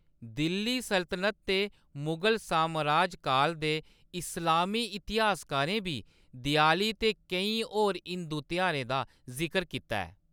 दिल्ली सल्तनत ते मुगल सामराज काल दे इस्लामी इतिहासकारें बी देआली ते केईं होर हिंदू तेहारें दा जिकर कीता ऐ।